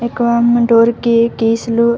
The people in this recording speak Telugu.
ఎక్కువ మన డోర్ కి కీస్ లు--